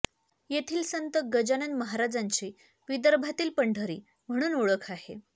येथील संत गजानन महाराजाची विदर्भातील पंढरी म्हणून ओळख आहे